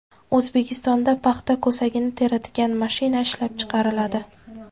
O‘zbekistonda paxta ko‘sagini teradigan mashina ishlab chiqariladi.